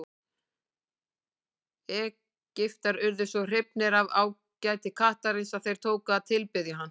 Egyptar urðu svo hrifnir af ágæti kattarins að þeir tóku að tilbiðja hann.